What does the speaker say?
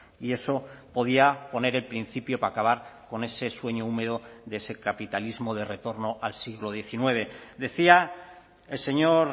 y eso podía poner el principio para acabar con ese sueño húmedo de ese capitalismo de retorno al siglo diecinueve decía el señor